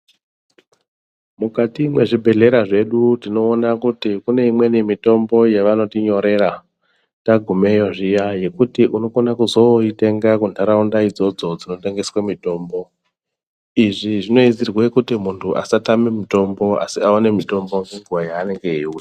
Mukati muzvibhehleya zvedu tinoona kuti kune imweni mitombo yavanotinyoreta tangumeyo zviya yekuti unokona zvoitenga mundaraunda idzodzo dzinotengeswa mitombo izvi zvinoizirwa kuti muntu asatame mutombo asi awone mutombo ngenguva yanenge eiuda.